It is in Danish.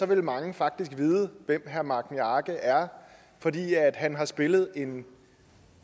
ville mange faktisk vide hvem herre magni arge er for han har spillet en